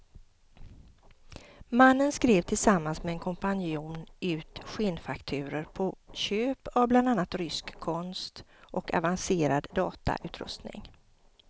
Mannen skrev tillsammans med en kompanjon ut skenfakturor på köp av bland annat rysk konst och avancerad datautrustning.